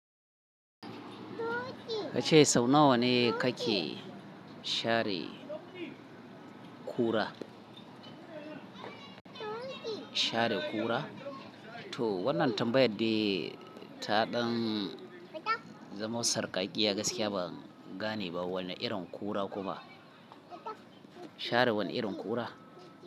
Kace sau nawa ne kake share kura? Share kura? To wannan tambayar dai ta ɗan zamo sarƙakiya, gaskiya ban gane ba wane irin ƙura kuka share wane irin ƙura?